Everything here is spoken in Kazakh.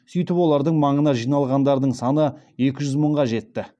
сөйтіп олардың маңына жиналғандардың саны екі жүз мыңға жетті